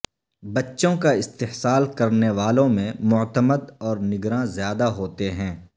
بچوں کا استحصال کرنے والوں میں معتمد اور نگراں زیادہ ہوتے ہیں